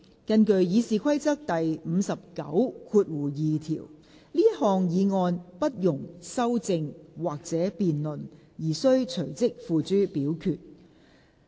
根據《議事規則》第592條，這項議案不容修正或辯論而須隨即付諸表決。